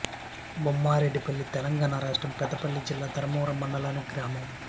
బొమ్మారెడ్డిపల్లి తెలంగాణ రాష్ట్రం పెద్దపల్లి జిల్లా ధర్మారం మండలంలోని గ్రామం